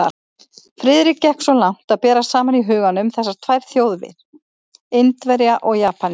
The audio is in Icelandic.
Friðrik gekk svo langt að bera saman í huganum þessar tvær þjóðir, Indverja og Japani.